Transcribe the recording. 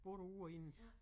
Både ude og inde